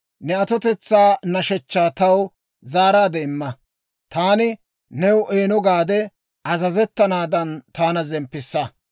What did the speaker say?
Ne atotetsaa nashshechchaa taw zaaraadde imma; taani new eeno gaade azazettanaadan, Taana zemppissa.